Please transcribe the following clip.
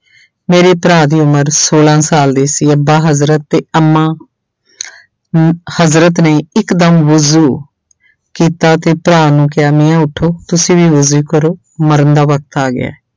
ਮੇਰੇ ਭਰਾ ਦੀ ਉਮਰ ਛੋਲਾਂ ਸਾਲ ਦੀ ਸੀ, ਅੱਬਾ ਹਜ਼ਰਤ ਤੇ ਅੰਮਾ ਹਜ਼ਰਤ ਨੇ ਇਕਦਮ ਵੁਜੂ ਕੀਤਾ ਤੇ ਭਰਾ ਨੂੰ ਕਿਹਾ ਮੀਆਂ ਉਠੋ ਤੁਸੀਂ ਵੀ ਵੁਜੂ ਕਰੋ, ਮਰਨ ਦਾ ਵਖ਼ਤ ਆ ਗਿਆ ਹੈ।